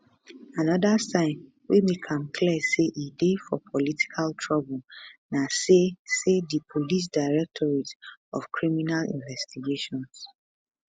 anoda sign wey make am clear say e dey for political trouble na say say di police directorate of criminal investigations